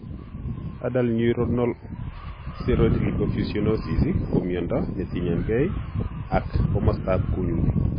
Adult neuronal ceroid lipofuscinosis ko miondo netinyegei ak komastab kunyutik